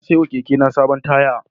Na saiwa kekena sabuwar taya.